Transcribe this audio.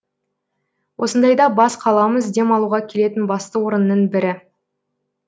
осындайда бас қаламыз демалуға келетін басты орынның бірі